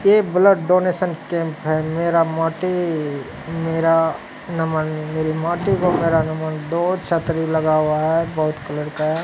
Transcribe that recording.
यह blood donation camp है मेरा माटी मेरा नमन मेरी माटी को मेरा नमन दो छतरी लगा हुआ है बहुत कलर का है।